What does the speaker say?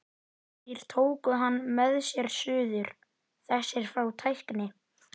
Þeir tóku hann með sér suður, þessir frá tækni